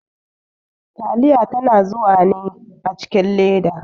Taliya yana zuwa ne a cikin leda.